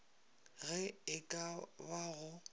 ge e ka ba go